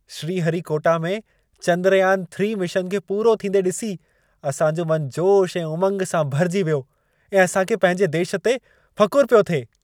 श्रीहरिकोटा में चंद्रयान-3 मिशन खे पूरो थींदे ॾिसी असांजो मन जोशु ऐं उमंगु सां भरिजी वियो ऐं असांखे पंहिंजे देश ते फ़ख़ुर पियो थिए।